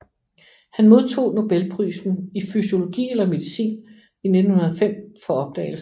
Han modtog Nobelprisen i fysiologi eller medicin i 1905 for opdagelsen